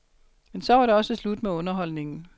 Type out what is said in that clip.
Men så var det også slut med underholdningen.